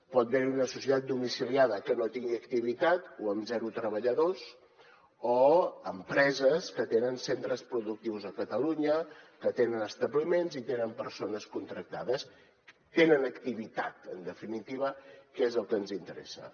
pot haver hi una societat domiciliada que no tingui activitat o amb zero treballadors o empreses que tenen centres productius a catalunya que tenen establiments i tenen persones contractades tenen activitat en definitiva que és el que ens interessa